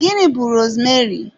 Gịnị bú rosmeri?